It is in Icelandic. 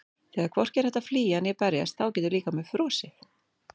Þegar hvorki er hægt að flýja né berjast þá getur líkaminn frosið.